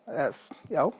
já